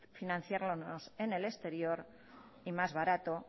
financiarnos en el exterior y más barato